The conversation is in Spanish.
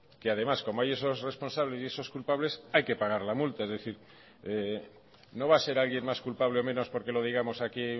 que además como hay esos responsables y esos culpables hay que pagar la multa es decir no va a ser alguien más culpable o menos porque lo digamos aquí